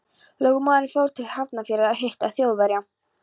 Lögmaðurinn fór til Hafnarfjarðar að hitta Þjóðverja.